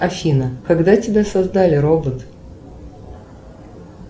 афина когда тебя создали робот